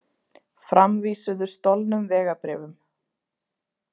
Framvísuðu stolnum vegabréfum